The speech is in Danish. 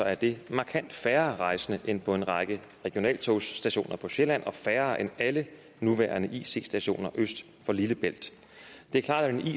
er det markant færre rejsende end på en række regionaltogsstationer på sjælland og færre end alle nuværende ic stationer øst for lillebælt det er klart